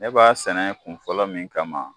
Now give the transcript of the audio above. Ne b'a sɛnɛ kun fɔlɔ min kama